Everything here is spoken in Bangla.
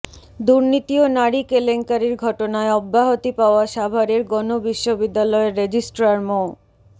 দুর্নীতি ও নারী কেলেঙ্কারির ঘটনায় অব্যাহতি পাওয়া সাভারের গণ বিশ্ববিদ্যালয়ের রেজিস্ট্রার মো